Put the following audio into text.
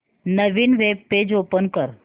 नवीन web page open कर